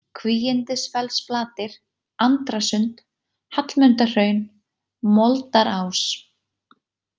Kvígindisfellsflatir, Andrasund, Hallmundarhraun, Moldarás